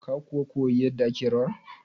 Ka kuwa koya yarda ake rawan?